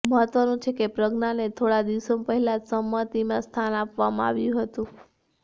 મહત્વનું છે કે પ્રજ્ઞાને થોડા દિવસો પહેલા જ સમિતિમાં સ્થાન આપવામાં આવ્યું હતું